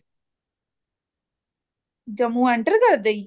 Jammu enter ਕਰਦੇ ਹੀ